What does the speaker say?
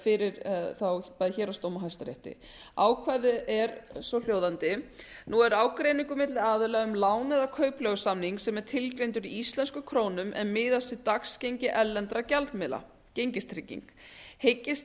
fyrir héraðsdómi og hæstarétti ákvæðið er svohljóðandi nú er ágreiningur milli aðila um lán eða kaupleigusamning sem er tilgreindur í íslenskum krónum en miðast við dagsgengi erlendra dagsmiðla gengistrygging hyggist